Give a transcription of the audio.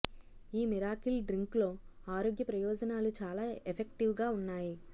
ఈ miracle drink లో ఆరోగ్య ప్రయోజనాలు చాలా ఎఫెక్టివ్ గా ఉన్నాయి